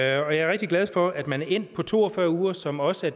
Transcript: jeg er rigtig glad for at man er endt på to og fyrre uger som også